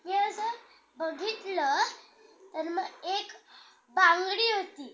तो मग आपला mobile आपले safety साठी घेणार आहे. कि फोडा साठी घेणार आहे.